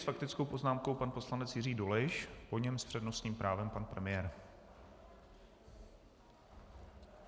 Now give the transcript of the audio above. S faktickou poznámkou pan poslanec Jiří Dolejš, po něm s přednostním právem pan premiér.